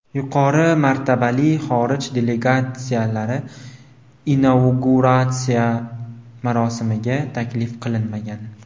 Yuqori martabali xorij delegatsiyalari inauguratsiya marosimiga taklif qilinmagan.